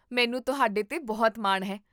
ਮੈਨੂੰ ਤੁਹਾਡੇ 'ਤੇ ਬਹੁਤ ਮਾਣ ਹੈ